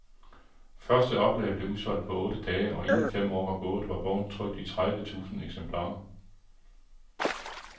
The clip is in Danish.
Første oplag blev udsolgt på otte dage, og inden fem år var gået, var bogen trykt i tredive tusind eksemplarer.